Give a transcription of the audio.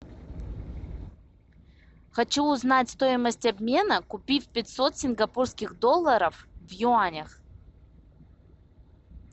хочу узнать стоимость обмена купив пятьсот сингапурских долларов в юанях